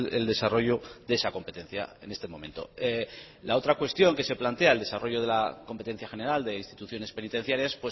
el desarrollo de esa competencia en este momento la otra cuestión que se plantea el desarrollo de la competencia general de instituciones penitenciarias